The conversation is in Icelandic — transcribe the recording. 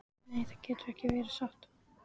Nei, það getur ekki verið satt.